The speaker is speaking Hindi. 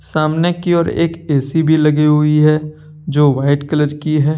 सामने की ओर एक ए_सी भी लगी हुई है जो वाइट कलर की है।